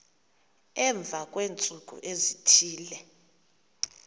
emva kweentsuku ezithile